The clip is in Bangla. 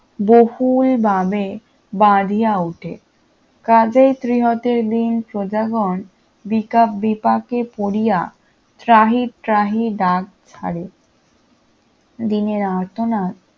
বহুলভাবে বাড়িয়া ওঠে কাজেই ত্রিহতের দীন প্রজাগণ বিকা বিপাকে পড়িয়া ত্রাহি ত্রাহি ডাক ছাড়ে তাহাদিগের আর্তনাদ